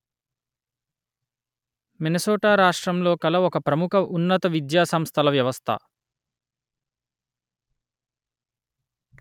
Minnesota రాష్ట్రంలో కల ఒక ప్రముఖ ఉన్నత విద్యా సంస్థల వ్యవస్థ